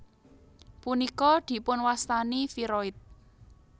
Punika dipunwastani viroid